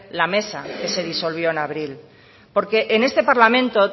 la mesa que se disolvió en abril porque en este parlamento